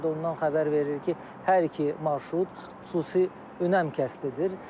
O da ondan xəbər verir ki, hər iki marşrut xüsusi önəm kəsb edir.